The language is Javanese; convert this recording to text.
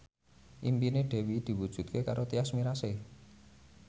impine Dewi diwujudke karo Tyas Mirasih